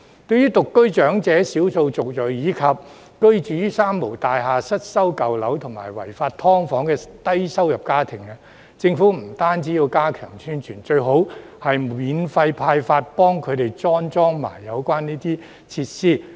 對於獨居長者、少數族裔，以及居於"三無大廈"、失修舊樓和違法"劏房"的低收入家庭，政府不僅要加強宣傳，最好向他們免費派發並安裝有關設施。